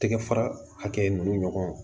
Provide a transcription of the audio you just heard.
Tɛgɛ fara hakɛ ninnu ɲɔgɔn